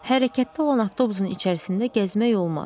Hərəkətdə olan avtobusun içərisində gəzmək olmaz.